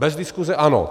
Bez diskuse ano.